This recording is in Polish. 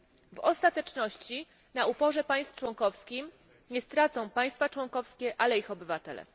W ostateczności na uporze państw członkowskich nie stracą państwa członkowskie, ale ich obywatele.